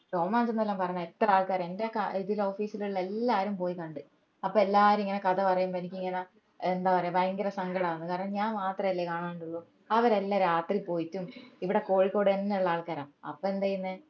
രോമാഞ്ചമെന്നെല്ലോം പറഞ്ഞാ എത്ര ആൾക്കാർ എന്റെ ക ഇതില് office ലുള്ള എല്ലാരും പോയി കണ്ട് അപ്പൊ എല്ലാരും ഇങ്ങനെ കഥ പറേമ്പോ എനിക്കിങ്ങനെ ഏർ എന്താ പറയുവാ ഭയങ്കര സങ്കടാവുന്നു കാരണം ഞാൻ മാത്രല്ലേ കാണണ്ടുള്ളു അവരെല്ലൊം രാത്രി പോയിട്ടും ഇവിടെ കോഴിക്കോടെന്നെ ഉള്ള ആൾക്കാരാ അപ്പൊ എന്താ ചെയ്യന്നെ